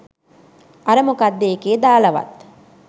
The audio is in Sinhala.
අර මොකක්ද එකේ දාලවත්